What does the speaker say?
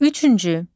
Üçüncü.